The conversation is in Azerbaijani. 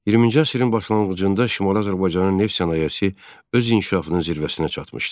20-ci əsrin başlanğıcında Şimali Azərbaycanın neft sənayesi öz inkişafının zirvəsinə çatmışdı.